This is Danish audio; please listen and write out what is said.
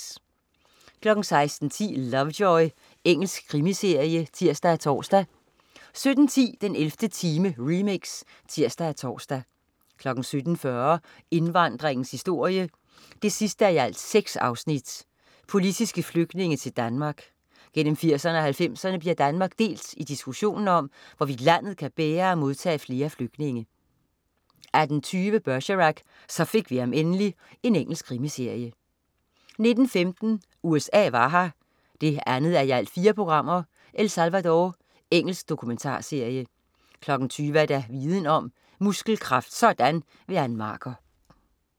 16.10 Lovejoy. Engelsk krimiserie (tirs-tors) 17.10 den 11. time, remix (tirs og tors) 17.40 Indvandringens historie 6:6. Politiske flygtninge til Danmark. Gennem 80'erne og 90'erne bliver Danmark delt i diskussionen om, hvorvidt landet kan bære at modtage flere flygtninge 18.20 Bergerac: Så fik vi ham endelig. Engelsk krimiserie 19.15 USA var her 2:4. El Salvador. Engelsk dokumentarserie 20.00 Viden om: Muskelkraft sådan! Ann Marker